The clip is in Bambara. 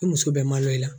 E muso bɛ malo i la